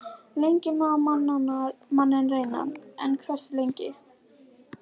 Lengi má manninn reyna- en hversu lengi?